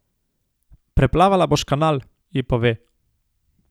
Preplavala boš Kanal, ji pove.